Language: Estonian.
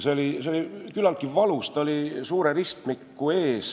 See oli küllaltki valus, ta oli enne suurt ristmikku.